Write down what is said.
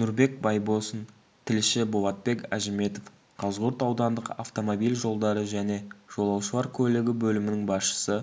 нұрбек байбосын тілші болатбек әжіметов қазығұрт аудандық автомобиль жолдары және жолаушылар көлігі бөлімінің басшысы